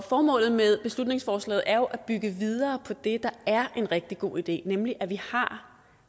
formålet med beslutningsforslaget er jo at bygge videre på det der er en rigtig god idé nemlig at vi har